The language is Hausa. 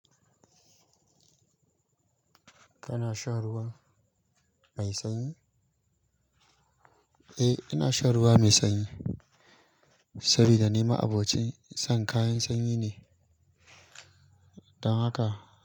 Kana shan ruwa mai sanyi? Eh, ina shan ruwa mai sanyi saboda ni ma abokin shan kayan sanyi ne, don haka.